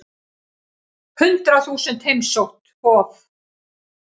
Hundrað þúsund heimsótt Hof